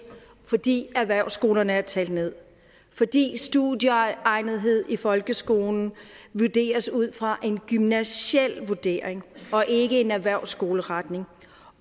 fordi erhvervsskolerne er talt ned fordi studieegnethed i folkeskolen vurderes ud fra en gymnasial vurdering og ikke ud fra en erhvervsskoleretning